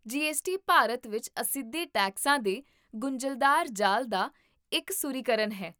GST Bharat ਵਿੱਚ ਅਸਿੱਧੇ ਟੈਕਸਾਂ ਦੇ ਗੁੰਝਲਦਾਰ ਜਾਲ ਦਾ ਇਕਸੁਰੀਕਰਨ ਹੈ